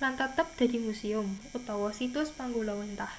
lan tetep dadi musium utawa situs panggulawenthah